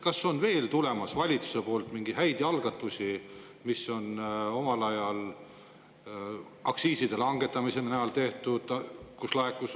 Kas on veel tulemas valitsusest selliseid häid algatusi, nagu omal ajal tehti aktsiiside langetamise näol?